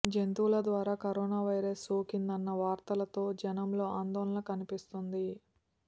జంతువుల ద్వారా corona virus సోకిందన్న వార్తలతో జనంలో ఆందోళన కనిపిస్తోంది